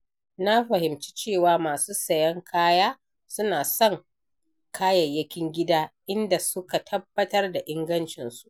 Na fahimci cewa masu sayen kaya suna son kayayyakin gida idan suka tabbatar da ingancinsu.